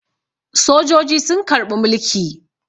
Sojoji sun karɓi mulki.